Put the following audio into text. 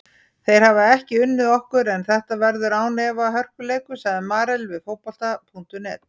Þeir hafa ekki unnið okkur en þetta verður án efa hörkuleikur, sagði Marel við Fótbolta.net.